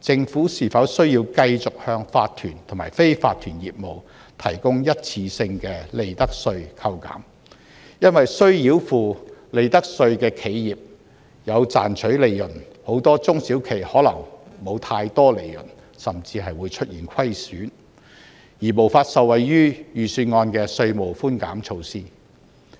政府是否需要繼續向法團和非法團業務提供一次性的利得稅扣減，因為須繳付利得稅的企業有賺取利潤，很多中小企可能沒有太多利潤，甚至出現虧損，而無法受惠於預算案的稅務寬減措施。